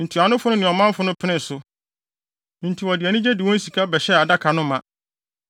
Ntuanofo no ne ɔmanfo no penee so, enti wɔde anigye de wɔn sika bɛhyɛɛ adaka no ma.